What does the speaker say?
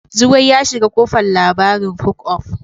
Zugwai ya shiga kofan labarin hook up.